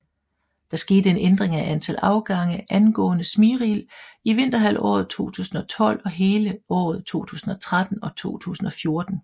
Der skete en ændring af antal afgange angående Smyril i vinterhalvåret 2012 og hele året 2013 og 2014